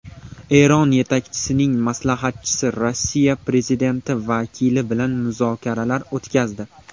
Eron yetakchisining maslahatchisi Rossiya prezidenti vakili bilan muzokaralar o‘tkazdi .